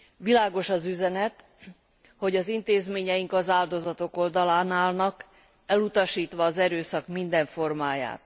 Világos az üzenet, hogy az intézményeink az áldozatok oldalán állnak, elutasítva az erőszak minden formáját.